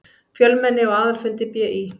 Fjölmenni á aðalfundi BÍ